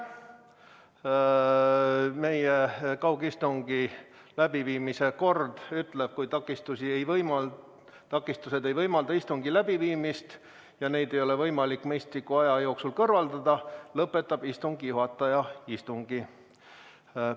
Meie kaugistungi läbiviimise kord ütleb, et kui takistused ei võimalda istungit läbi viia ja neid ei ole võimalik mõistliku aja jooksul kõrvaldada, lõpetab istungi juhataja istungi.